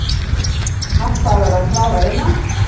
Harpa að verða klár að innan